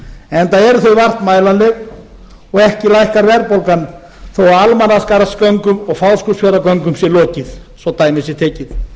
enda eru þau vart mælanleg og ekki lækkar verðbólgan þó að almannaskarðsgöngum og fáskrúðsfjarðargöngum sé lokið svo dæmi sé tekið